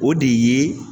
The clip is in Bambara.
O de ye